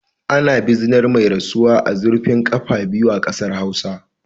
Ana bizinar mai rasuwa a zurfin kafa biyu a kasar Hausawa